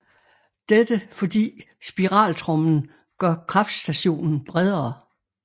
Dette fordi spiraltrommen gør kraftstationen bredere